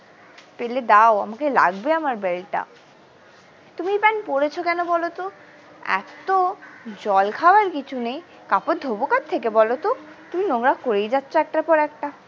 পেলে দাও আমাকে লাগবে আমার belt টা তুমি এই pant পড়েছো কোনো বলতো এক তো জলখাবার কিছু নেয় কাপড় ধোবো কোথ থেকে বলতো তুমি নোংরা করেই যাচ্ছ একটার পর একটা।